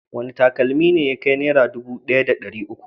Wane takalmi ne ya kai Naira dubu ɗaya da ɗari uku?